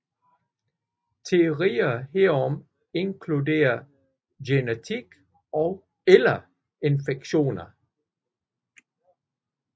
Teorier herom inkluderer genetik eller infektioner